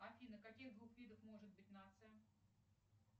афина каких двух видов может быть нация